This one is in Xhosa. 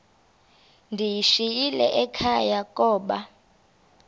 ndiyishiyile ekhaya koba